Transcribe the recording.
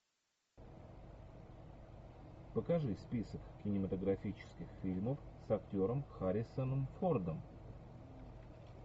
покажи список кинематографических фильмов с актером харрисоном фордом